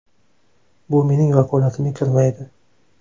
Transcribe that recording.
Bu mening vakolatimga kirmaydi.